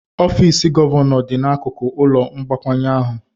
Ọfịs gọvanọ dị n'akụkụ ụlọ mgbakwunye ahụ.